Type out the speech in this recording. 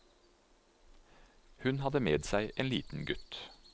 Hun hadde med seg en liten gutt.